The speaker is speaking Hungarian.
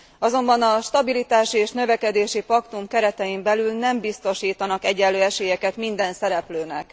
Azonban a stabilitási és a növekedési paktum keretein belül nem biztosítanak egyenlő esélyeket minden szereplőnek.